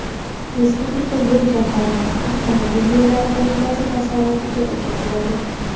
Respublika yo‘l jamg‘armasi Avtomobil yo‘llari qo‘mitasi tasarrufiga o‘tkaziladi.